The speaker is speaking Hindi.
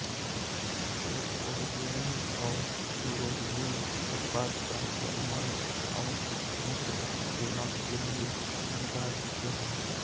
स्टेरकोबिलिन और यूरोबिलिन उत्पाद क्रमशः मल और मूत्र के रंग के लिए जिम्मेदार होते हैं